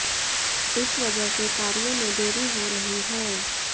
इस वजह से कार्य में देरी हो रही है